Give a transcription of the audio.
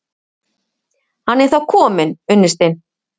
Hann er þá kominn, unnustinn!